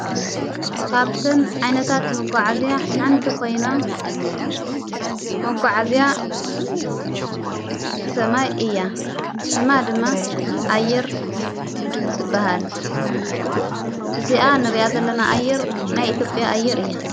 ካብተን ዓይነታት መጕዐ እዝያ ሓንቲ ኾይና መጕዓእዚያ ሰማይ እያ ሽማ ድማ ኣይር ትበሃል እዚኣ ንርእያዘለና ኣይር ናይ ኢቲጴያ ኣይር እያ።